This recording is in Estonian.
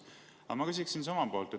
Aga ma küsiksin siis omalt poolt.